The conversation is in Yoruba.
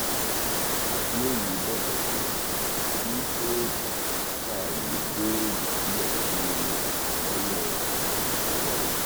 àbíòye bẹbẹ pé kí kóòtù fàáyé bẹẹlí sílẹ fún un lọnà ìrọrùn